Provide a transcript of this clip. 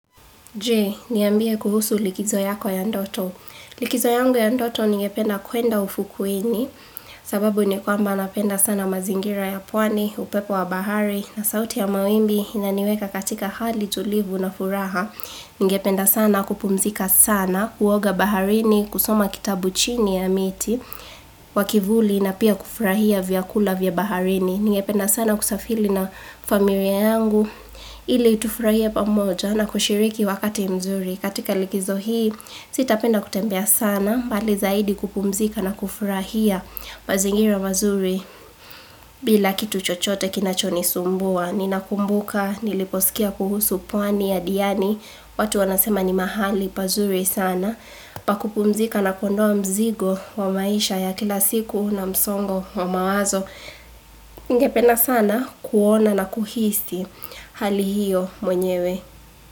Je, niambie kuhusu likizo yako ya ndoto. Likizo yangu ya ndoto ningependa kwenda ufukweni sababu nikwamba napenda sana mazingira ya pwani, upepo wa bahari na sauti ya mawimbi inaniweka katika hali tulivu na furaha. Nigependa sana kupumzika sana, kuoga baharini, kusoma kitabu chini ya miti, wa kivuli na pia kufurahia vyakula vya baharini. Nigependa sana kusafili na familia yangu, ili tufurahie pamoja na kushiriki wakati mzuri katika likizo hii sitapenda kutembea sana bali zaidi kupumzika na kufurahia mazingira mazuri bila kitu chochote kinacho ni sumbua. Ninakumbuka, niliposikia kuhusu pwani ya diani, watu wanasema ni mahali pazuri sana, pakupumzika na kuondoa mzigo wa maisha ya kila siku na msongo wa mawazo. Ningependa sana kuona na kuhisi hali hio mwenyewe.